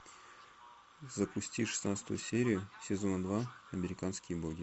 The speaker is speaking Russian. запусти шестнадцатую серию сезона два американские боги